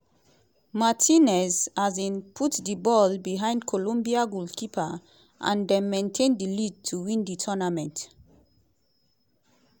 martinez um put di ball behind colombia goalkeeper and dem maintain di lead to win di tournament.